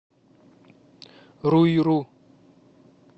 руиру